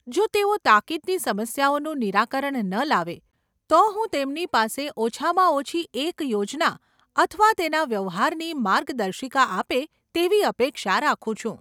જો તેઓ તાકીદની સમસ્યાઓનું નિરાકરણ ન લાવે, તો હું તેમની પાસે ઓછામાં ઓછી એક યોજના અથવા તેના વ્યવહારની માર્ગદર્શિકા આપે તેવી અપેક્ષા રાખું છું.